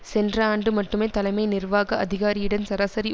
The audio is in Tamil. சென்ற ஆண்டு மட்டுமே தலைமை நிர்வாக அதிகாரியின் சராசரி